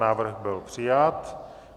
Návrh byl přijat.